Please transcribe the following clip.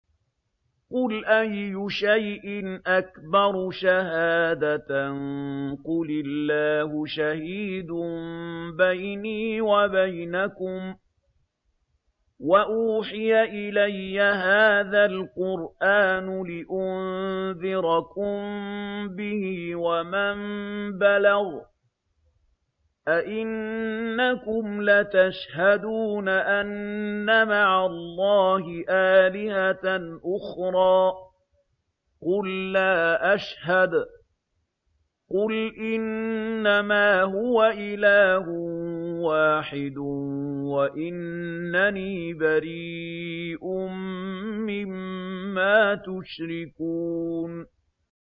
قُلْ أَيُّ شَيْءٍ أَكْبَرُ شَهَادَةً ۖ قُلِ اللَّهُ ۖ شَهِيدٌ بَيْنِي وَبَيْنَكُمْ ۚ وَأُوحِيَ إِلَيَّ هَٰذَا الْقُرْآنُ لِأُنذِرَكُم بِهِ وَمَن بَلَغَ ۚ أَئِنَّكُمْ لَتَشْهَدُونَ أَنَّ مَعَ اللَّهِ آلِهَةً أُخْرَىٰ ۚ قُل لَّا أَشْهَدُ ۚ قُلْ إِنَّمَا هُوَ إِلَٰهٌ وَاحِدٌ وَإِنَّنِي بَرِيءٌ مِّمَّا تُشْرِكُونَ